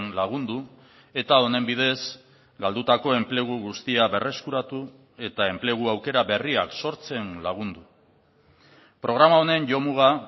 lagundu eta honen bidez galdutako enplegu guztia berreskuratu eta enplegu aukera berriak sortzen lagundu programa honen jomuga